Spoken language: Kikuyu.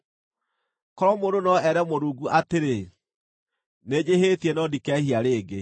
“Korwo mũndũ no ere Mũrungu atĩrĩ, ‘Nĩnjĩhĩtie no ndikehia rĩngĩ.